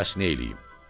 Bəs neyləyim?